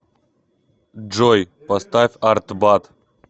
джой поставь артбат